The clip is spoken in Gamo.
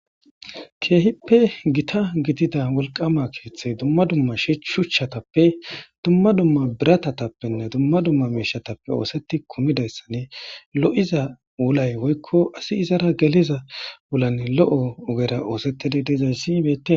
keehippe gita gidida wolqama keeththey dumma dumma shshuchchatappe dumma dumma biratatappenne dumma dumma meeshatappe ooseti kumidayssane lo7iza wulay woykko asi izara geliza wulanne lo7o ugera oosettidi dezayssi ybete